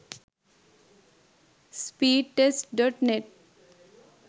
speedtest.net